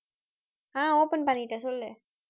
ஆஹ் open பண்ணிட்டேன் சொல்லு